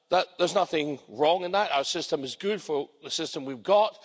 There's nothing wrong in that. Our system is good for the system we've got.